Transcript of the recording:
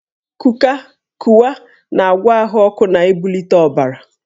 Kuka/Kuwa na-agwọ ahụ ọkụ na ibulite ọbara